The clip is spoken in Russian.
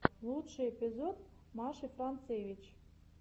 лучший эпизод маши францевич